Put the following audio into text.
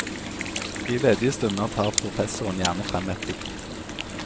I ledige stunder tar professoren gjerne frem et dikt.